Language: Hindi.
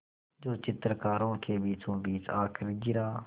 जो चित्रकारों के बीचोंबीच आकर गिरा